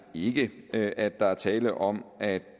ikke at at der er tale om at